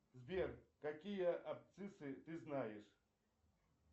сбер какие абсциссы ты знаешь